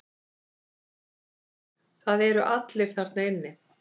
Það eru allir þarna inni.